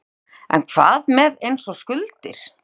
Ingimar: En hvað með eins og skuldir?